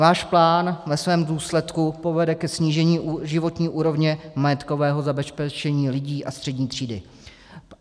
Váš plán ve svém důsledku povede ke snížení životní úrovně majetkového zabezpečení lidí a střední třídy.